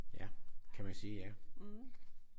Ja. Kan man sige ja